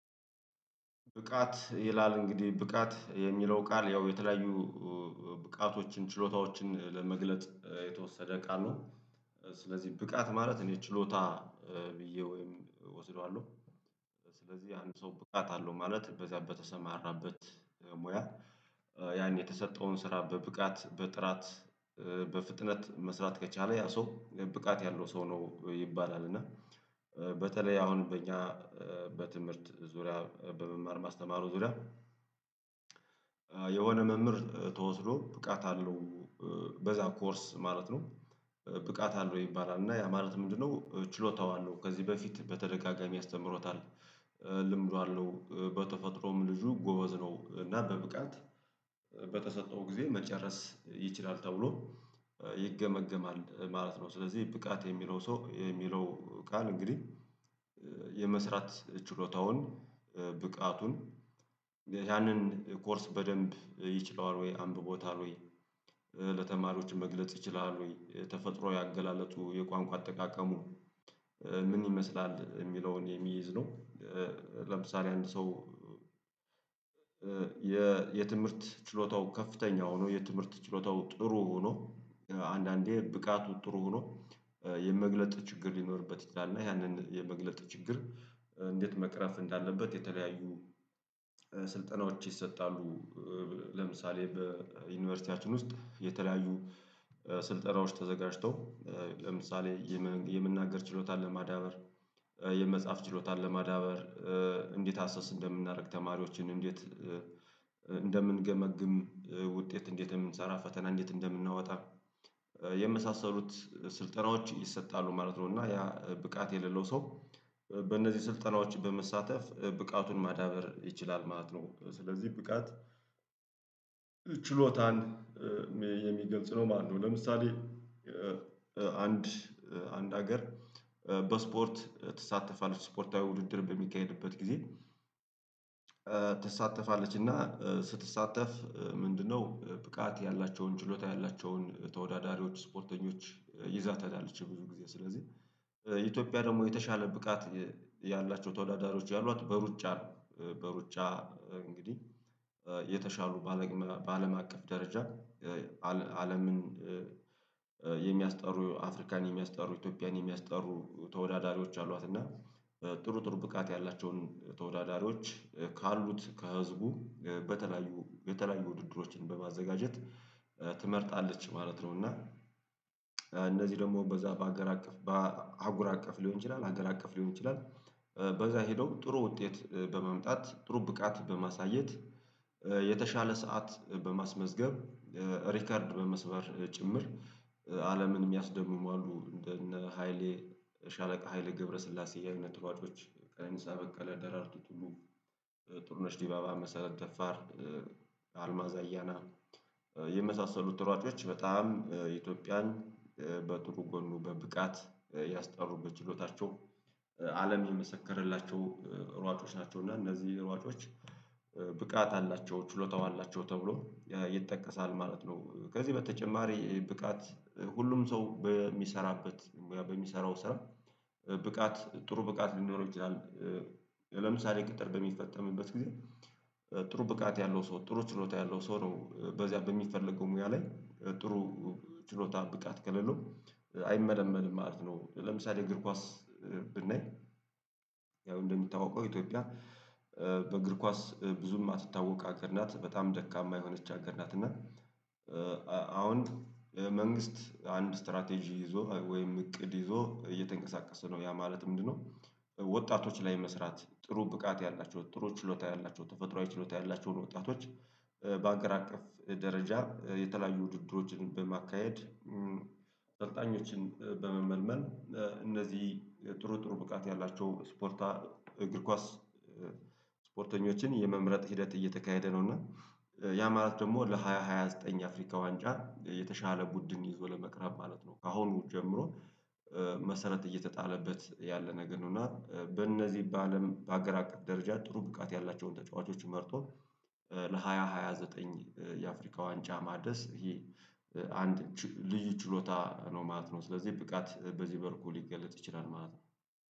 ብቃት ይላል እንግዲህ ብቃት የሚለው ቃል ያው የተለያዩ ብቃቶችን ችሎታዎችን ለመግለጥ የተወሰደ ቃሉ ስለዚህ ብቃት ማለት እኔ ችሎታ ብዬ ወይም እወስደዋለሁ። ስለዚህ አንድ ሰው ብቃት አለው ማለት በዚያ በተሰማራበት ሙያ ያን የተሰጠውን ስራ በብቃት በጥራት በፍጥነት መስራት ከቻለ ያ ሰው ብቃት ያለው ሰው ነው ይባላል። እና በተለይ አሁን በእኛ በትምህርት ዙሪያ በመማር ማስተማሩ ዙሪያ የሆነ መምህር ተወስዶ ብቃት አለው በዛ ኮርስ ማለት ነው። ብቃት አለው ይባላል እና ያ ማለት ምንድነው ችሎታው አለው ከዚህ በፊት በተደጋጋሚ አስተምሮታል። ልምዱ አለው በተፈጥሮም ልጁ ጎበዝ ነው እና በብቃት በተሰጠው ጊዜ መጨረስ ይችላል ተብሎ ይገመገማል ማለት ነው። ስለዚህ ብቃት የሚለው ሰው የሚለው ቃል እንግዲህ የመስራት ችሎታውን ብቃቱን ያንን ኮርስ በደንብ ይችለዋል ወይ አንብቦታል ወይ ለተማሪዎች መግለጽ ይችላል ወይ የተፈጥሮ አገላለጡ የቋንቋ አጠቃቀሙ ምን ይመስላል የሚለውን የሚይዝ ነው? ለምሳሌ አንድ ሰው የትምህርት ችሎታው ከፍተኛ ሆኖ የትምህርት ችሎታው ጥሩ ሆኖ አንዳንዴ ብቃቱ ጥሩ ሆኖ የመግለጥ ችግር ሊኖርበት ይችላል እና ያንን የመግለጽ ችግር እንዴት መቅረፍ እንዳለበት የተለያዩ ስልጠናዎች ይሰጣሉ። ለምሳሌ በዩኒቨርሲቲያችን ውስጥ የተለያዩ ስልጠራዎች ተዘጋጅተው ለምሳሌ የመናገር ችሎታን ለማዳበር የመጻፍ ችሎታን ለማዳበር እንዴት አሰስ እንደምናደርግ ተማሪዎችን እንዴት እንደምንገመግም ውጤት እንዴት እንደምንሰራ ፈተና እንዴት እንደምናወጣ የመሳሰሉት ስልጠናዎች ይሰጣሉ ማለት ነው። እና ያ ብቃት የሌለው ሰው በእነዚህ ስልጠናዎች በመሳተፍ ብቃቱን ማዳበር ይችላል ማለት ነው። ስለዚህ ብቃት ችሎታን የሚገልጽ ነው ማነው ለምሳሌ? አንድ አንድ ሀገር በስፖርት ትሳተፋለች ስፖርታዊ ውድድር በሚካሄድበት ጊዜ ትሳተፋለች እና ስትሳተፍ ምንድነው ብቃት ያላቸውን ችሎታ ያላቸውን ተወዳዳሪዎች ስፖርተኞች ይዛ ተሄዳለች? ብዙ ጊዜ ስለዚህ ኢትዮጵያ ደግሞ የተሻለ ብቃት ያላቸው ተወዳዳሪዎች ያሏት በሩጫ ነው በሩጫ እንግዲህ የተሻሉ በአለም አቀፍ ደረጃ አለምን የሚያስጠሩ አፍሪካን የሚያስጠሩ ኢትዮጵያን የሚያስጠሩ ተወዳዳሪዎች አሏት እና ጥሩ ጥሩ ብቃት ያላቸውን ተወዳዳሪዎች ካሉት ከህዝቡ በተለያዩ የተለያዩ ውድድሮችን በማዘጋጀት ትመርጣለች ማለት ነው። እና እነዚህ ደግሞ በዛ በአገር አቀፍ በአህጉር አቀፍ ሊሆን ይችላል አገር አቀፍ ሊሆን ይችላል በዛ ሄደው ጥሩ ውጤት በመምጣት ጥሩ ብቃት በማሳየት የተሻለ ሰዓት በማስመዝገብ ሪከርድ በመስበር ጭምር አለምን የሚያስደምሙ አሉ እንደ እነ ሃይሌ ሻለቃ ሃይሌ ገብረስላሴ አይነት ሯጮች ቀነኒሳ በቀለ ደራርቱ ቱሉ ጡርነሽ ዲባባ መሰረት ደፋር አልማዝ አያና የመሳሰሉት ሯጮች በጣም ኢትዮጵያን በጥሩ ጎኑ በብቃት ያስጠሩ በችሎታቸው አለም የመሰከረላቸው ሯጮች ናቸው እና እነዚህ ሯጮች ብቃት አላቸው ችሎታው አላቸው ተብሎ ይጠቀሳል ማለት ነው። ከዚህ በተጨማሪ ብቃት ሁሉም ሰው በሚሰራበት ሙያ በሚሰራው ስራ ብቃት ጥሩ ብቃት ሊኖረው ይችላል። ለምሳሌ ቅጥር በሚፈጸምበት ጊዜ ጥሩ ብቃት ያለው ሰው ጥሩ ችሎታ ያለው ሰው ነው በዚያ በሚፈለገው ሙያ ላይ ጥሩ ችሎታ ብቃት ከሌለው አይመለመልም ማለት ነው። ለምሳሌ እግር ኳስ ብናይ ያው እንደሚታወቀው ኢትዮጵያ በእግር ኳስ ብዙ የማትታወቅ አገር ናት በጣም ደካማ የሆነች አገር ናት እና አሁን መንግስት አንድ ስትራቴጂ ይዞ ወይም እቅድ ይዞ እየተንቀሳቀሰ ነው ያ ማለት ምንድነው? ወጣቶች ላይ መስራት ጥሩ ብቃት ያላቸው ጥሩ ችሎታ ያላቸው ተፈጥሮአዊ ችሎታ ያላቸውን ወጣቶች በአገር አቀፍ ደረጃ የተለያዩ ውድድሮችን በማካሄድ ሰልጣኞችን በመመልመል እነዚህ ጥሩ ጥሩ ብቃት ያላቸው ስፖርታዊ እግር ኳስ ስፖርተኞችን የመምረጥ ሂደት እየተካሄደ ነው። እና ያ ማለት ደግሞ ለሃያ ሃያ ዘጠኝ የአፍሪካ ዋንጫ የተሻለ ቡድን ይዞ ለመቅረብ ማለት ነው ካሁኑ ጀምሮ መሰረት እየተጣለበት ያለ ነገር ነው። እና በእነዚህ በአለም በአገር አቀፍ ደረጃ ጥሩ ብቃት ያላቸውን ተጫዋቾች መርጦ ለሃያ ሃያ ዘጠኝ የአፍሪካ ዋንጫ ማድረስ ይሄ አንድ ልዩ ችሎታ ነው ማለት ነው። ስለዚህ ብቃት በዚህ መልኩ ሊገለጥ ይችላል ማለት ነው